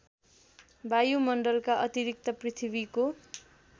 वायुमण्डलका अतिरिक्त पृथ्वीको